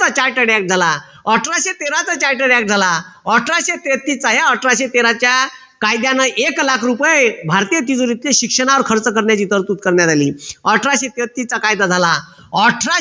charted act झाला अठराशे तेरात charted act झाला अठराशे तेहतीस ते अठराशे तेराच्या कायद्यानं एक लाख रुपये भारतीय तिजोरीतील शिक्षणावर खर्च करण्याची तरतूद करण्यात आली अठराशे तेहतीस चा कायदा झाला अठराशे